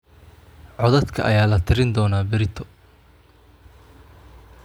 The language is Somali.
Codadka ayaa la tirin doonaa berrito